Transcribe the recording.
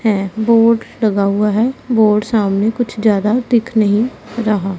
हैं बोर्ड लगा हुआ है बोर्ड सामने कुछ ज्यादा दिख नहीं रहा।